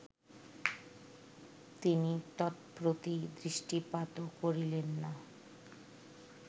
তিনি তৎপ্রতি দৃষ্টিপাতও করিলেন না